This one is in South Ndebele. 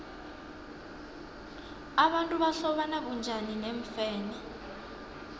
abantu bahlobana bunjani neemfene